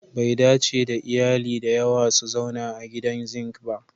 Bai dace da iyali da yawa su zauna a gidan zink ba